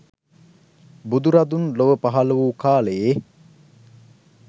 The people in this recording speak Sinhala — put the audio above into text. බුදුරදුන් ලොව පහළ වූ කාලයේ